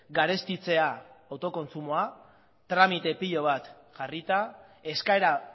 garestitzea autokontsumoa tramite pila bat jarrita eskaera